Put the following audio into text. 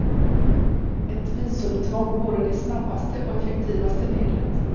Ett visumtvång vore det snabbaste och effektivaste medlet.